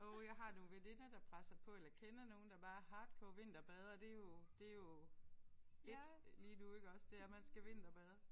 Åh jeg har nogle veninder der presser på eller kender nogen der bare er hardcore vinterbadere det er jo det er jo it lige nu iggås det er man skal vinterbade